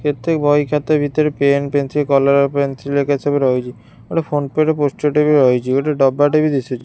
କେତେ ବହି ଖାତା ଭିତରେ ପେନ୍ ପେନସିଲ କଲରଅ ପେନ୍ସିଲ ଗରିକା ସବୁ ରହିଚି ଗୋଟେ ଫୋନ ପେ ରେ ପୋଷ୍ଟର ଟାଏ ବି ରହିଚି ଗୋଟେ ଡବା ଟା ବି ଦିଶୁଛି।